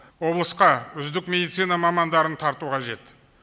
облысқа үздік медицина мамандарын тарту қажет